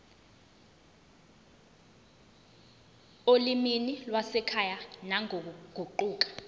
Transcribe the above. olimini lwasekhaya nangokuguquka